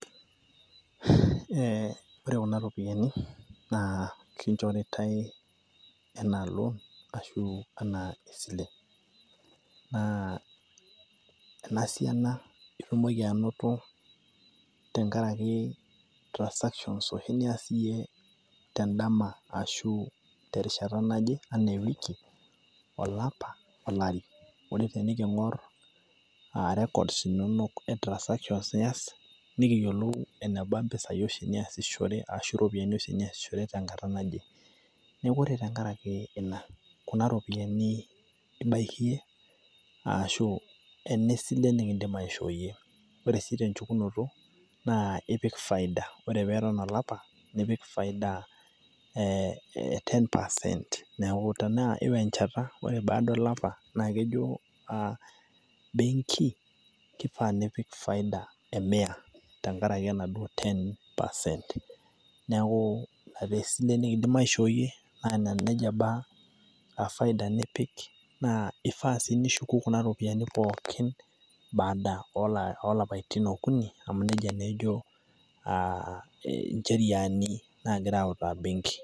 ore kuna ropiyiani naa kinchoritae anaa loan anaa esile. naa ena siana itumoki anoto, tenkaraki transactions oshi nias iyie tedama shu tesrishata naje, olopa, ewiki anaa olari. ore pee king'or transactions oshi nias nikiyiolou, eneba mpisai oshi niasishore ashu, iropiyiani oshi niasishore tenkata nae. neeku ore tenkaraki ina. ena esile nikidim aishoo yie. ore sii tenchukunoto ipik faida, ore pee eton olapa. nipik 10 percent.